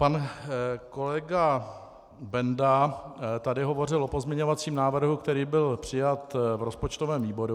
Pan kolega Benda tady hovořil o pozměňovacím návrhu, který byl přijat v rozpočtovém výboru.